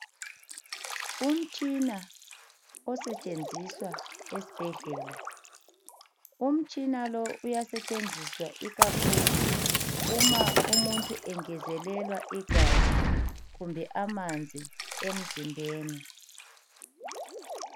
Umtshina osetshenziswa esibhedlela. Umtshina lo uyasetshenziswa ikakhulu uma umuntu engezelelwa igazi kumbe amanzi emzimbeni